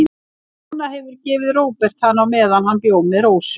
Lúna hefur gefið Róbert hana á meðan hann bjó með Rósu.